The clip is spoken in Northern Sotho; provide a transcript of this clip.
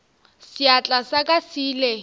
seatla sa ka se ile